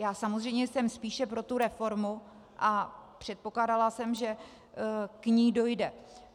Já samozřejmě jsem spíše pro tu reformu a předpokládala jsem, že k ní dojde.